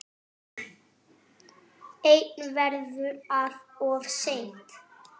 En verður það of seint?